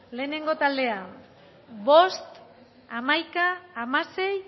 lehengo taldea bost hamaika hamasei